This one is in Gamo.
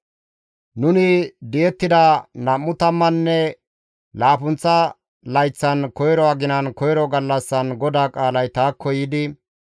Nuni di7ettida nam7u tammanne laappunththa layththan, koyro aginan, koyro gallassan GODAA qaalay taakko yiidi,